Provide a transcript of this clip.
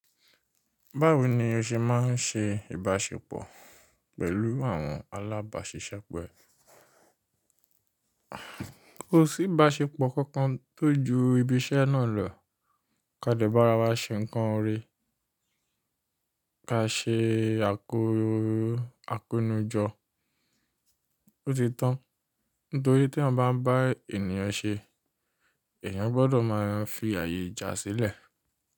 Báwo ni o ṣe máa ń ṣe ìbáṣepọ̀ pẹ̀lú àwọn alábàáṣiṣẹ́po e? Kò sí ìbáṣepọ̀ kankan tó ju ibi iṣẹ́ náà lọ, ká dẹ̀ bára wa ṣe nǹkan oore, ká ṣe àkórin akónijọ. Ó ti tán, nítorí tí a bá ń bá ènìyàn ṣe, ènìyàn gbọ́dọ̀ máa fi àyè ìjà sílẹ̀.